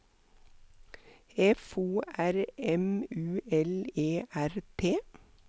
F O R M U L E R T